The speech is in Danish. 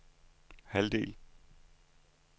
halvdel